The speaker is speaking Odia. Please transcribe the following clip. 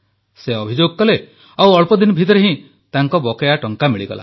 ସେ ଅଭିଯୋଗ କଲେ ଓ ଅଳ୍ପଦିନ ଭିତରେ ହିଁ ତାଙ୍କ ବକେୟା ଟଙ୍କା ମିଳିଗଲା